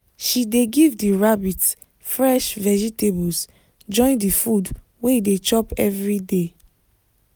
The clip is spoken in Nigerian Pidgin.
she dey give the rabbit fresh vegetables join the food wey e dey chop everyday